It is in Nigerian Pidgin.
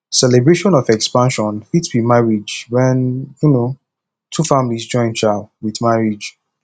celebration of expansion fit be marriage when um two families join um with marriage